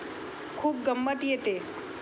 खूप गंमत येते.